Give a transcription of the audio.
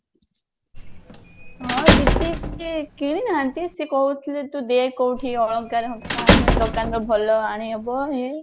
ହଁ ଦିଦି କିଣିନାହାନ୍ତି ସେ କହୁଥିଲେ ତୁ ଦେଖ କଉଠି ଅଳଙ୍କାର ଆମେ ଦୋକାନ ରୁ ଭଲ ଆଣିହବ ଇଏ